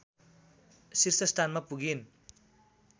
शीर्ष स्थानमा पुगिन्